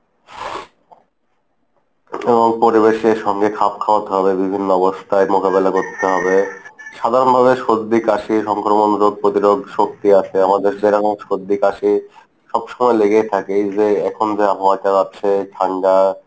এবং পরিবেশের সঙ্গে খাপ খাওয়াতে হবে বিভিন্ন অবস্থায় মোকাবিলা করতে হবে সাধারণভাবে সর্দি কাশি, সংক্রমণ রোগ প্রতিরোধ শক্তি আসে আমাদের যেরকম সর্দি, কাশি সব সময় লেগেই থাকে। এই যে এখন যে হওয়ারটা আছে ঠান্ডা